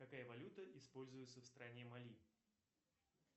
какая валюта используется в стране мали